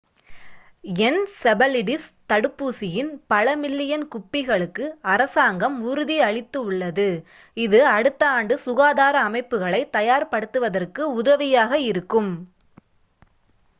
encephalitis தடுப்பூசியின் பல million குப்பிகளுக்கு அரசாங்கம் உறுதியளித்துள்ளது இது அடுத்த ஆண்டு சுகாதார அமைப்புகளை தயார்படுத்துவதற்கு உதவியாக இருக்கும்